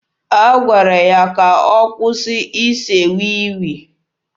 A gwara ya ka ọ kwụsị ise wii wii.